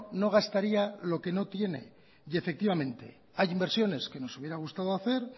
no gastaría lo que no tiene y efectivamente hay inversiones que nos hubiera gustado hacer